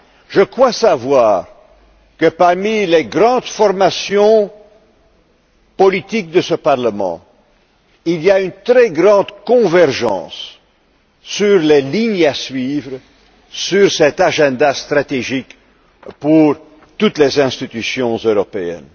Je crois savoir qu'au sein des grandes formations politiques de ce Parlement, il y a une très grande convergence sur les lignes à suivre sur cet agenda stratégique pour toutes les institutions européennes.